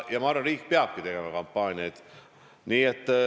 Ma arvan, et riik peabki tegema kampaaniaid.